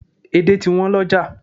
Edé ti wọ́n lọ́jà